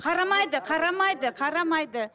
қарамайды қарамайды қарамайды